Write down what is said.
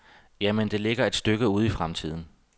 Ja, men det ligger et stykke ude i fremtiden.